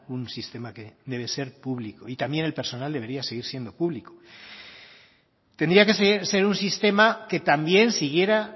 un sistema que debe ser público y también el personal debería seguir siendo público tendría que ser un sistema que también siguiera